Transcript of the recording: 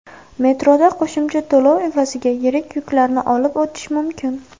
Metroda qo‘shimcha to‘lov evaziga yirik yuklarni olib o‘tish mumkin.